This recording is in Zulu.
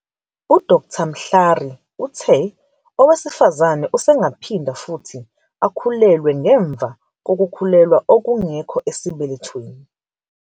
UDkt. Mhlari uthe owesifazane usengaphinda futhi akhulelwe ngemva kokukhulelwa okungekho esibelethweni.